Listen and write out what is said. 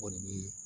O de bɛ